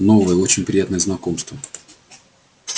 новое очень приятное знакомство